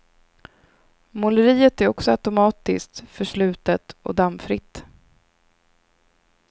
Måleriet är också automatiskt, förslutet och dammfritt.